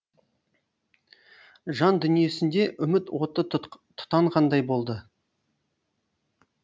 жан дүниесінде үміт оты тұтанғандай болды